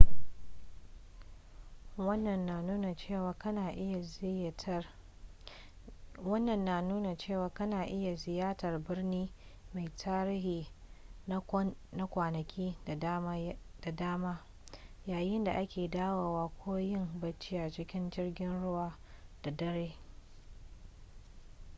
wannan na nuna cewa kana iya ziyartar birni mai tarihi na kwanaki da dama yayin da ake dawowa ko yin bacci a cikin jirgin ruwan da dare